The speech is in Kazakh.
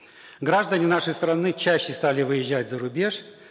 граждане нашей страны чаще стали выезжать зарубеж